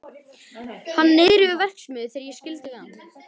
Hann var niðri við verksmiðju þegar ég skildi við hann.